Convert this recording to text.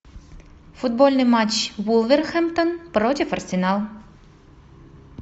футбольный матч вулверхэмптон против арсенал